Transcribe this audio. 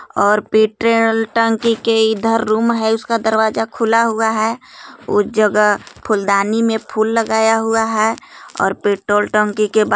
और पेट्रोल टंकी के इधर रूम है उसका दरवाजा खुला हुआ है उस जगह फूलदानी में फूल लगाया हुआ है और पेट्रोल टंकी के बा-